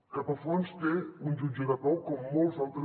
capafonts té un jutge de pau com molts altres